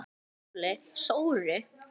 SKÚLI: Sóru?